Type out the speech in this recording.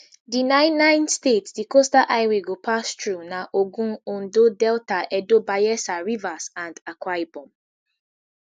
di nine nine states di coastal highway go pass thru na ogun ondo delta edo bayels rivers and akwa ibom